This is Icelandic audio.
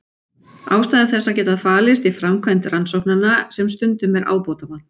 Ástæður þess geta falist í framkvæmd rannsóknanna sem stundum er ábótavant.